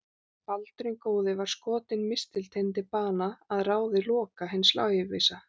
Baldur hinn góði var skotinn mistilteini til bana að ráði Loka hins lævísa.